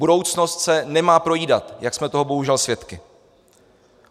Budoucnost se nemá projídat, jak jsme toho bohužel svědky.